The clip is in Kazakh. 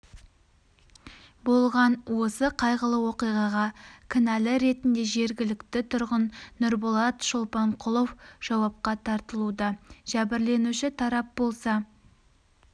болған осы қайғылы оқиғаға кінәлі ретінде жергілікті тұрғын нұрболат шолпанқұлов жауапқа тартылуда жәбірленуші тарап болса